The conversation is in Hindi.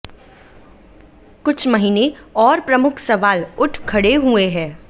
कुछ महीने और प्रमुख सवाल उठ खड़े हुए हैं